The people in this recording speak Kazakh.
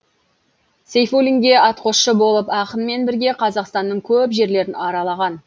сейфуллинге атқосшы болып ақынмен бірге қазақстанның көп жерлерін аралаған